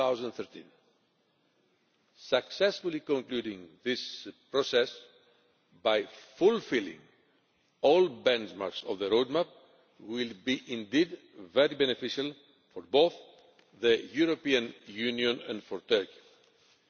2013. Successfully concluding this process by fulfilling all benchmarks of the roadmap will be indeed very beneficial for both the European Union and for Turkey.